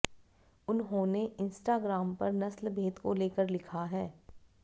उन्होंने इंस्टाग्राम पर नस्लभेद को लेकर लिखा है